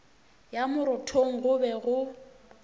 ya marothong go be go